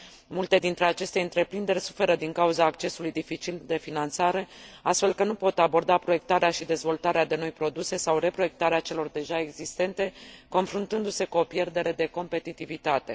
Multe dintre aceste întreprinderi suferă din cauza accesului dificil la finanțare, astfel că nu pot aborda proiectarea și dezvoltarea de noi produse sau reproiectarea celor deja existente, confruntându se cu o pierdere de competitivitate.